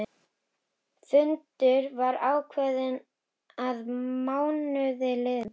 Fundur var ákveðinn að mánuði liðnum.